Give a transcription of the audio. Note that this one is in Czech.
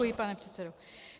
Děkuji, pane předsedo.